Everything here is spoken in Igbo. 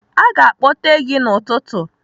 Aga akpọte gị n'ụtụtụ.